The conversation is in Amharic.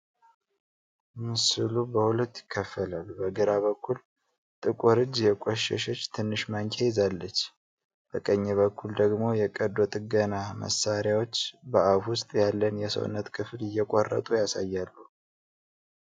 ምስሉ በሁለት ይከፈላል። በግራ በኩል ጥቁር እጅ የቆሸሸች ትንሽ ማንኪያ ይዛለች። በቀኝ በኩል ደግሞ የቀዶ ጥገና መሳሪያዎች በአፍ ውስጥ ያለን የሰውነት ክፍል እየቆረጡ ያሳያሉ።